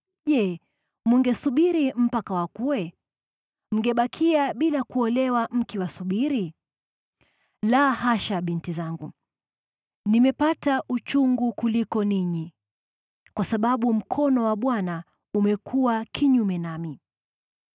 je, mngesubiri mpaka wakue? Mngebakia bila kuolewa mkiwasubiri? La, hasha, binti zangu. Nimepata uchungu kuliko ninyi, kwa sababu mkono wa Bwana umekuwa kinyume nami!”